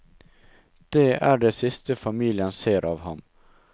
Det er det siste familien ser av ham.